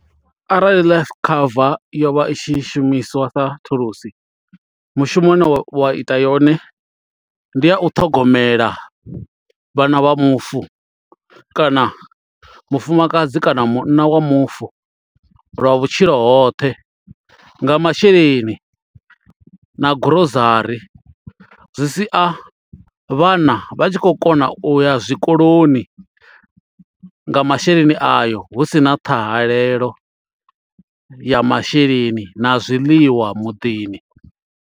Arali life cover yo vha i tshi shumiswa sa thulusi mushumo une wa ita yone ndi a u ṱhogomela vhana vha mufu kana mufumakadzi kana munna wa mufu lwa vhutshilo hoṱhe nga masheleni na gurozari zwi sia vhana vha tshi khou kona u ya zwikoloni nga masheleni ayo hu sina ṱhahalelo ya masheleni na zwiḽiwa muḓini.